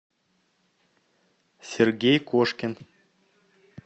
сергей кошкин